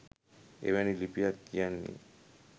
එවැනි ලිපියක් කියන්නෙ